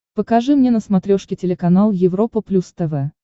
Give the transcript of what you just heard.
покажи мне на смотрешке телеканал европа плюс тв